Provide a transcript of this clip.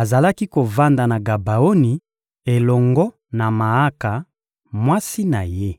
azalaki kovanda na Gabaoni elongo na Maaka, mwasi na ye.